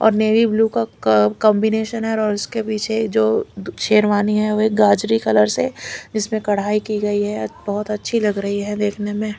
और navy blue का क कांबिनेशन है और उसके पीछे जो शेरवानी है वह गाजरी कलर से इसमें कढ़ाई की गई है बहुत अच्छी लग रही है देखने में।